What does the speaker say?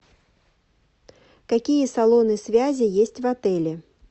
какие салоны связи есть в отеле